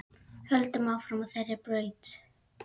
Höldum áfram á þeirri braut.